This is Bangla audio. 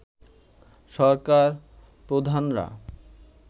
সরকার প্রধানরা